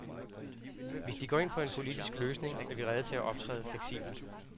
Hvis de går ind for en politisk løsning, er vi rede til at optræde fleksibelt.